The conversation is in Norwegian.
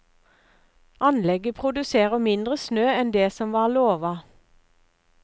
Anlegget produserer mindre snø enn det som var lova.